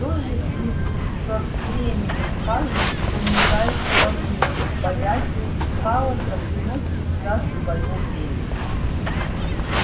то же и со временем каждый кто нуждается во времени боясь хаоса приносит сюда своё время